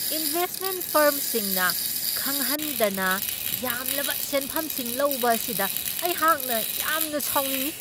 Investment ꯐꯔ꯭ꯝꯁꯤꯡꯅ ꯈꯪꯍꯟꯗꯅ ꯌꯥꯝꯂꯕ ꯁꯦꯟꯐꯝꯁꯤꯡ ꯂꯧꯕ ꯑꯁꯤꯗ ꯑꯩꯍꯥꯛꯅ ꯌꯥꯝꯅ ꯁꯥꯎꯅꯤꯡꯢ ꯫